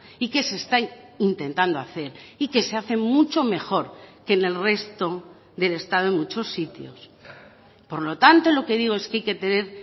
y que se está intentando hacer y que se hace mucho mejor que en el resto del estado en muchos sitios por lo tanto lo que digo es que hay que tener